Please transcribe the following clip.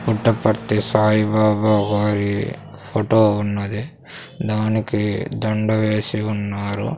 పుట్టపర్తి సాయిబాబా వారి ఫొటో ఉన్నది దానికి దండ వేసి ఉన్నారు.